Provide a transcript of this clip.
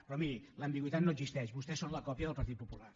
però miri l’ambigüitat no existeix vostès són la còpia del partit popular